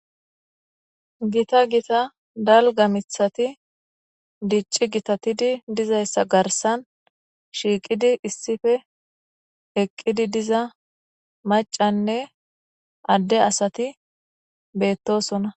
Gita gita dalgga miiththatti gitatidii dizayssa garssan shiiqqidi issippe eqqidi diza macanne adde asati beetosonna